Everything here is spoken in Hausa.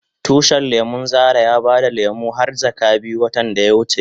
Tushin lemun Zara ya bada lemu har jaka biyu watan da ya wuce.